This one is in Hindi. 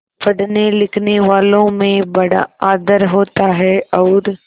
पढ़नेलिखनेवालों में बड़ा आदर होता है और